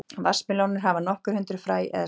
vatnsmelónur hafa nokkur hundruð fræ eða steina